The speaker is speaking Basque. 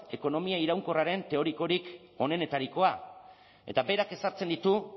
ekonomia iraunkorraren teorikorik onenetarikoa eta berak ezartzen ditu